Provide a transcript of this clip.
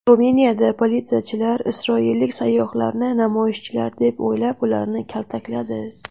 Ruminiyada politsiyachilar isroillik sayyohlarni namoyishchilar deb o‘ylab, ularni kaltakladi .